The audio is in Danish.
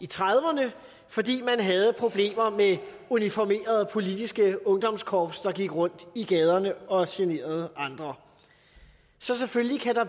trediverne fordi man havde problemer med uniformerede politiske ungdomskorps der gik rundt i gaderne og generede andre så selvfølgelig kan der